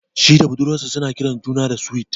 Shi da budurwar sa zasu ringa kiran juna da "Sweet".